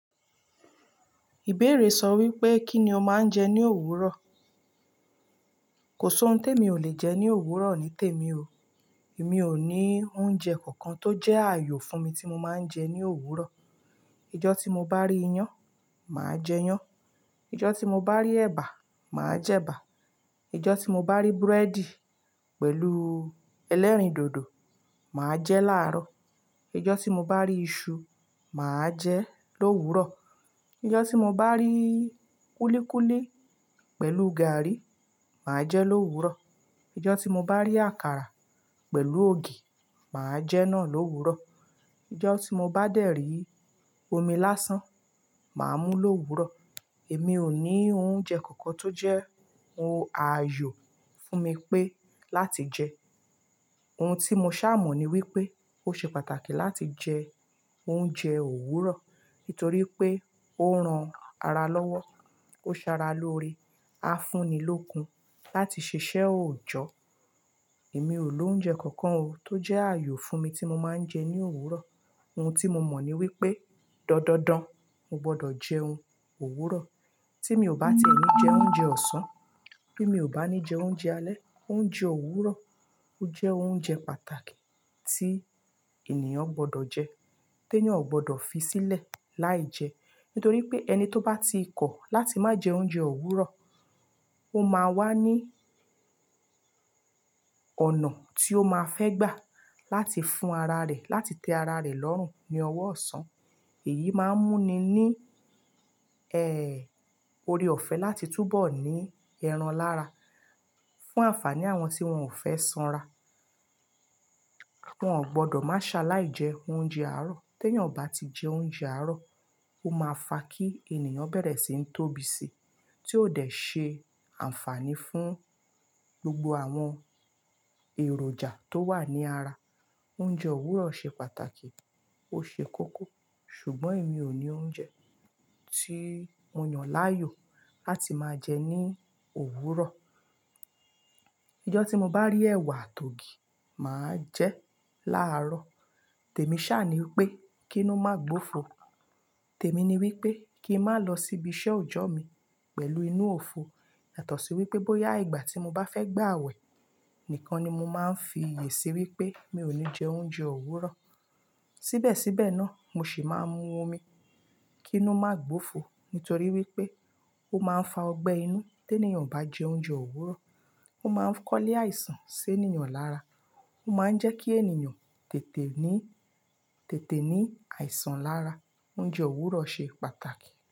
Ìbéèrè sọ wípé kí ni o máa ń jẹ ní òwúrọ̀? Kò sí ohun tí èmi ò le jẹ ní òwúrọ̀ nítèmi o. Èmi ò ní oúnjẹ kankan tó jẹ́ ààyò fún mi tí mo máa ń jẹ ní òwúrọ̀. Ìjọ́ tí mo bá rí iyán, màá jẹ iyán. Ìjọ́ tí mo bá rí ẹba, màá jẹ ẹba. Ìjọ́ tí mo bá rí búrẹ́dì pẹ̀lú ẹlẹ́rìndòdò, màá jẹ́ láárọ̀. Ìjọ́ tí mo bá rí iṣu, màá jẹ lówurọ̀. Ìjọ́ tí mo bá rí kúlíkúlí pẹ̀lú gààrí, màá jẹ lówúrọ̀. Ìjọ́ tí mo bá rí àkàrà pẹ̀lú ògì, màá jẹ́ náà lówúrọ̀. Ìjọ́ tí mo bá dẹ̀ rí omi lásán, màá mú lówúrọ̀. Èmi ò ní oúnjẹ kankan tó jẹ́ ohun ààyò fún mi pé láti jẹ. Ohun tí mo ṣá mọ̀ ni wípé ó ṣe pàtàkì láti jẹ oúnjẹ òwúrọ̀ nítorí pé ó ran ara lọ́wọ́. Ó ṣe ara lóore, á fún ni lókun láti ṣiṣẹ́ òòjọ́. Èmi ò ní oúnjẹ kankan o tó jẹ́ ààyò fún mi tí mo máa ń jẹ ní òwúrọ̀. Ohun tí mo mọ̀ ni wípé dandandan, mo gbọ́dọ̀ jẹún ówúrọ̀. Tí mi ò bá ti e ní jẹ oúnjẹ ọ̀sán, bí mi ò bá ní jẹ oúnjẹ alẹ́, oúnjẹ òwúrọ̀, ó jẹ́ oúnjẹ pàtàkì tí ènìyàn gbọ́dọ̀ jẹ. Ti eeyan ò gbọ́dọ̀ fi sílẹ̀ láìjẹ́. Nítorí pé ẹni tó bá ti kọ̀ láti má jẹ oúnjẹ òwúrọ̀, ó máa wá ní ọ̀nà tí ó máa fẹ́ gbà láti fún ara rẹ̀, láti tẹ ara rẹ̀ lọ́rùn ní ọwọ́ ọ̀sán. Èyí máa ń mú ni ní ẹ́, oore ọ̀fẹ́ láti túbọ̀ ní ẹran lára. Fún àǹfàní àwọn tí wọ́n ò fẹ́ sanra. Wọ́n ò gbọ́dọ̀ má ṣe aláìjẹ oúnjẹ àárọ̀. Ti eeyan ò bá ti jẹ oúnjẹ àárọ̀, ó máa fa kí ènìyàn bẹ̀rẹ̀ sí ń tóbi si, tí ó dẹ̀ ṣe àǹfàní fún gbogbo àwọn èròjà tó wà ní ara. Oúnjẹ òwúrọ̀ ṣe pàtàkì, ó ṣe kókó. Ṣùgbọ́n èmi ò ní oúnjẹ tí mo yàn láàyò láti máa jẹ ní òwúrọ̀. Ìjọ́ tí mo bá rí ẹwà àti ògì, màá jẹ́ láárọ̀. Tèmi ṣàaní wípé kí inu ma gbófo. Tèmi ni wípé kí ń má lọ síbi iṣẹ́ òòjọ́ mi pẹ̀lú inú òfo. Yàtọ̀ sí wípé bóyá ìgbà tí mo bá fẹ́ gbà àawẹ̀ nìkan ni mo máa ń fi iyè sí wípé mi ò ní jẹ oúnjẹ òwúrọ̀. Síbẹ̀síbẹ̀ náà, mo sì máa mú omi kí inu ma gbófo. Nítorí wípé ó máa ń fa ọgbẹ́ inú. Ti eeyan ò bá jẹ oúnjẹ òwúrọ̀, ó máa ń kọ́ ilé àìsàn sí ènìyàn lára. Ó máa ń jẹ́ kí ènìyàn tètè ní, tètè ní àìsàn lára. Oúnjẹ òwúrọ̀ ṣe pàtàkì.